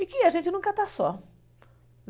E que a gente nunca está só.